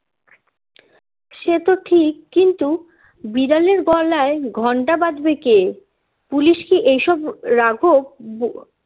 সে তো ঠিক কিন্তু বিড়ালের গলায় ঘণ্টা বাঁধবে কে পুলিশ কি এ সব রাঘব বোয়াল